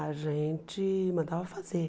A gente mandava fazer.